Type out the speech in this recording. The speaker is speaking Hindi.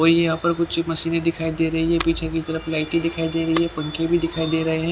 और यहाँ पर कुछ मशीनें दिखाई दे रही है पीछे की तरफ लाइटें दिखाई दे रही है पंखे भी दिखाई दे रहे हैं।